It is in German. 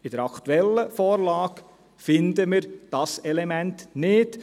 In der aktuellen Vorlage finden wir dieses Element nicht.